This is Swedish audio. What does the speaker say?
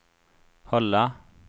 hålla